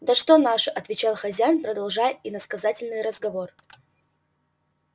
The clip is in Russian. да что наши отвечал хозяин продолжая иносказательный разговор